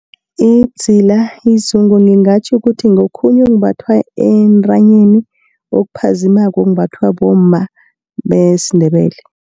Idzila, izungu ngingatjho ukuthi ngokhunye okumbathwa entanyeni, okuphazimako kumbathwa bomma besiNdebele.